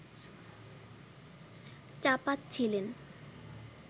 চাপাচ্ছিলেন